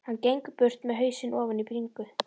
Hann gengur burt með hausinn ofan í bringu.